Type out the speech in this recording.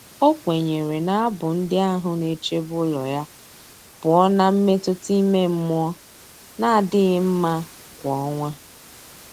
O kwenyere na abụ ndị ahụ na-echebe ụlọ ya pụọ na mmetụta ime mmụọ na-adịghị mma kwa ọnwa.